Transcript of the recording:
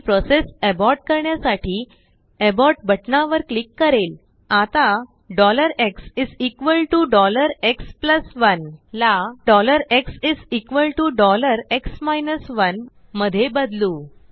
मी process abort करण्यासाठीAbortबटणावर click करेल आताxx1ला xx 1 मध्ये बदलू